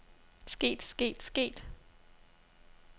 sket sket sket